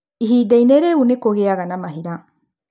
Ihinda-inĩ rĩu, nĩ kũgĩaga na mahira.